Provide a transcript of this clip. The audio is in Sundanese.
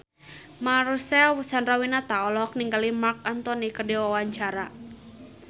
Marcel Chandrawinata olohok ningali Marc Anthony keur diwawancara